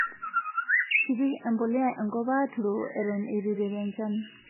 kepik embuliya enkop aaturoo enton itu iteru enchan